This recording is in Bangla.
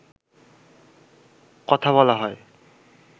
কথা বলা হয়